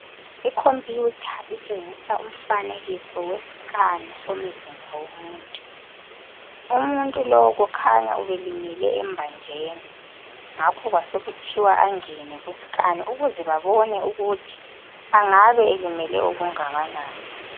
Icomputer itshengisa umfanekiso wescan somzimba womuntu. Umuntu lo, kukhanya ubelimele embanjeni, ngakho kwasekuthiwa kangene kuscan, ukuze babone ukuthi angabe, elimele okungakanani.